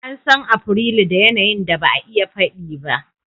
An san Afrilu da yanayin da ba a iya faɗi ba.